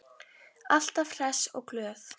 Alltaf hress og glöð.